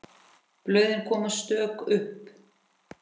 Blöðin koma stök upp.